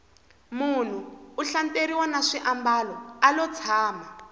munhu u hlantsweriwa na swimbalo alo tshama